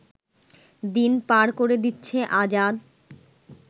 দিন পার করে দিচ্ছে আজাদ